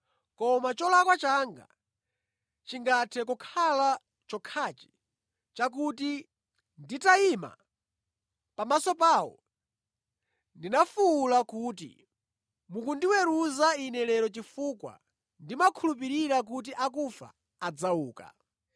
Koma cholakwa changa chingathe kukhala chokhachi chakuti, nditayima pamaso pawo ndinafuwula kuti, ‘Mukundiweruza ine lero chifukwa ndimakhulupirira kuti akufa adzauka.’ ”